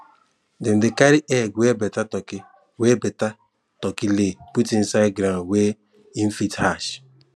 dem dey carry egg wey better turkey wey better turkey lay put inside ground where em fit hatch